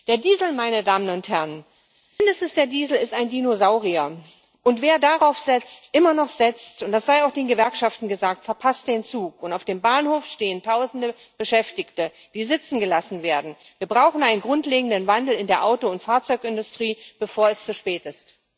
Der Diesel, meine Damen und Herren, mindestens der Diesel ist ein Dinosaurier, und wer darauf immer noch setzt und das sei auch den Gewerkschaften gesagt verpasst den Zug, und auf dem Bahnhof stehen Tausende Beschäftigte, die sitzen gelassen werden. Wir brauchen einen grundlegenden Wandel in der Auto und Fahrzeugindustrie, bevor es zu spät ist.